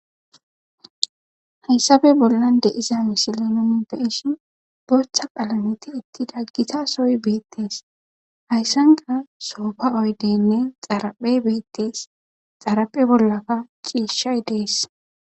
Hayssappe bollan de'zza missile nunni be'shshe boththa qallame thiethida githa sohoy bethees. Hayssanikka soffa oyddenne xaraphe bethetes. Xaraphe bollakka cishshayi dees.